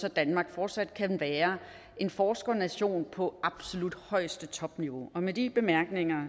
at danmark fortsat kan være en forskernation på absolut højeste niveau med de bemærkninger